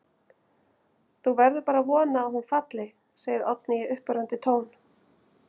Þú verður bara að vona að hún falli, segir Oddný í uppörvandi tón.